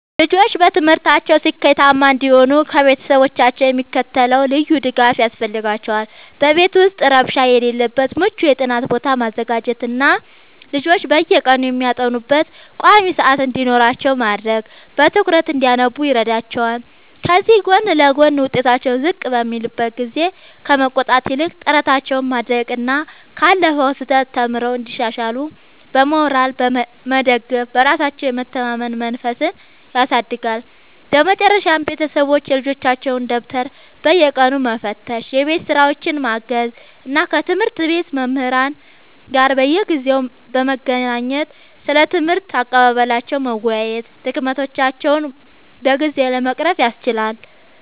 ልጆች በትምህርታቸው ስኬታማ እንዲሆኑ ከቤተሰቦቻቸው የሚከተለው ልዩ ድጋፍ ያስፈልጋቸዋል፦ በቤት ውስጥ ረብሻ የሌለበት ምቹ የጥናት ቦታ ማዘጋጀትና ልጆች በየቀኑ የሚያጠኑበት ቋሚ ሰዓት እንዲኖራቸው ማድረግ በትኩረት እንዲያነቡ ይረዳቸዋል። ከዚህ ጎን ለጎን፣ ውጤታቸው ዝቅ በሚልበት ጊዜ ከመቆጣት ይልቅ ጥረታቸውን ማድነቅና ካለፈው ስህተት ተምረው እንዲሻሻሉ በሞራል መደገፍ በራሳቸው የመተማመን መንፈስን ያሳድጋል። በመጨረሻም ቤተሰቦች የልጆቻቸውን ደብተር በየቀኑ መፈተሽ፣ የቤት ሥራቸውን ማገዝ እና ከትምህርት ቤት መምህራን ጋር በየጊዜው በመገናኘት ስለ ትምህርት አቀባበላቸው መወያየት ድክመቶቻቸውን በጊዜ ለመቅረፍ ያስችላል።